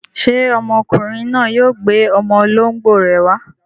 Ṣé ọmọkùnrin náà yóò gbé ọmọ olóńgbò rẹ̀ wá?